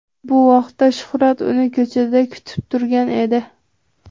Bu vaqtda Shuhrat uni ko‘chada kutib turgan edi.